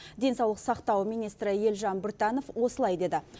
денсаулық сақтау министрі елжан біртанов осылай деді